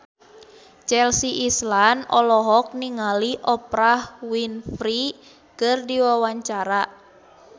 Chelsea Islan olohok ningali Oprah Winfrey keur diwawancara